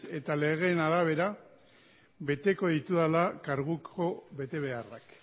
eta legeen arabera beteko ditudala karguko betebeharrak